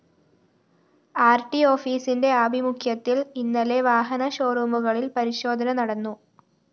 RT ഓഫീസിന്റെ ആഭിമുഖ്യത്തില്‍ ഇന്നലെ വാഹന ഷോറൂമുകളില്‍ പരിശോധന നടന്നു